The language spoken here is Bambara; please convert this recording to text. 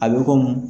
A bɛ komi